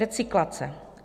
Recyklace.